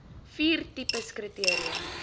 vier tipes kriteria